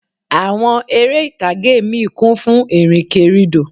Àwọn eré ìtàgé míì kún fún ìrìnkèrindò